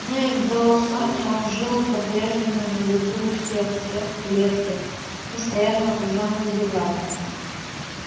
но и в доусоне он жил по-прежнему на виду у всех всех клетке постоянно окружённый зеваками